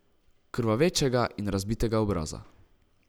Krvavečega in razbitega obraza.